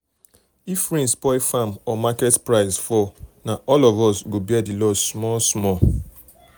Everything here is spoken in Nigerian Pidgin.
if rain spoil farm or market price fall na all of us go bear the loss small small.